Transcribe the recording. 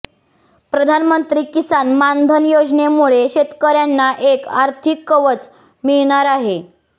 प्रधानमंत्री किसान मानधन योजनेमुळे शेतकऱ्यांना एक आर्थिक कवच मिळणार आहे